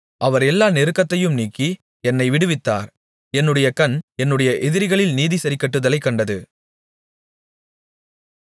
அவர் எல்லா நெருக்கத்தையும் நீக்கி என்னை விடுவித்தார் என்னுடைய கண் என்னுடைய எதிரிகளில் நீதி சரிக்கட்டுதலைக் கண்டது